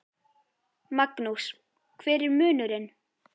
Magnús: Hver er munurinn?